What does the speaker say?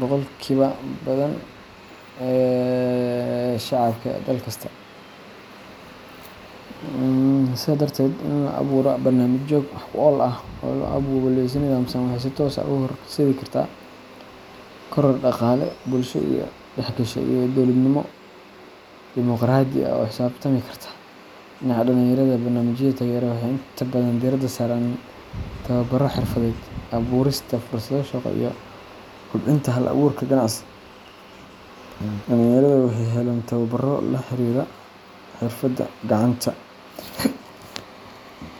boqolkiiba badan ee shacabka dal kasta. Sidaa darteed, in la abuuro barnaamijyo wax ku ool ah oo loo abaabulo si nidaamsan waxay si toos ah u horseedi kartaa koror dhaqaale, bulsho is dhexgasha, iyo dowladnimo dimoqraadi ah oo la xisaabtami karta. Dhinaca dhalinyarada, barnaamijyada taageerada waxay inta badan diiradda saaraan tababarro xirfadeed, abuurista fursado shaqo, iyo kobcinta hal-abuurka ganacsi. Dhalinyarada waxay helayaan tababbaro la xiriira xirfadaha gacanta.